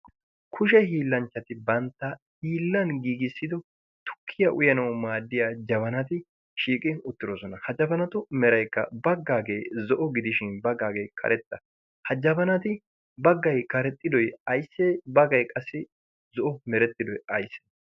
kushe hiillanchchati bantta hiillan giigissido tukkiya uyanawu maaddiya jabanati shiiqin uttidosona ha jabanatu meraykka baggaagee zo'o gidishin baggaagee karexxa ha jabanati baggay karexxidoi aysse bagay qassi zo'o merettidoi aysse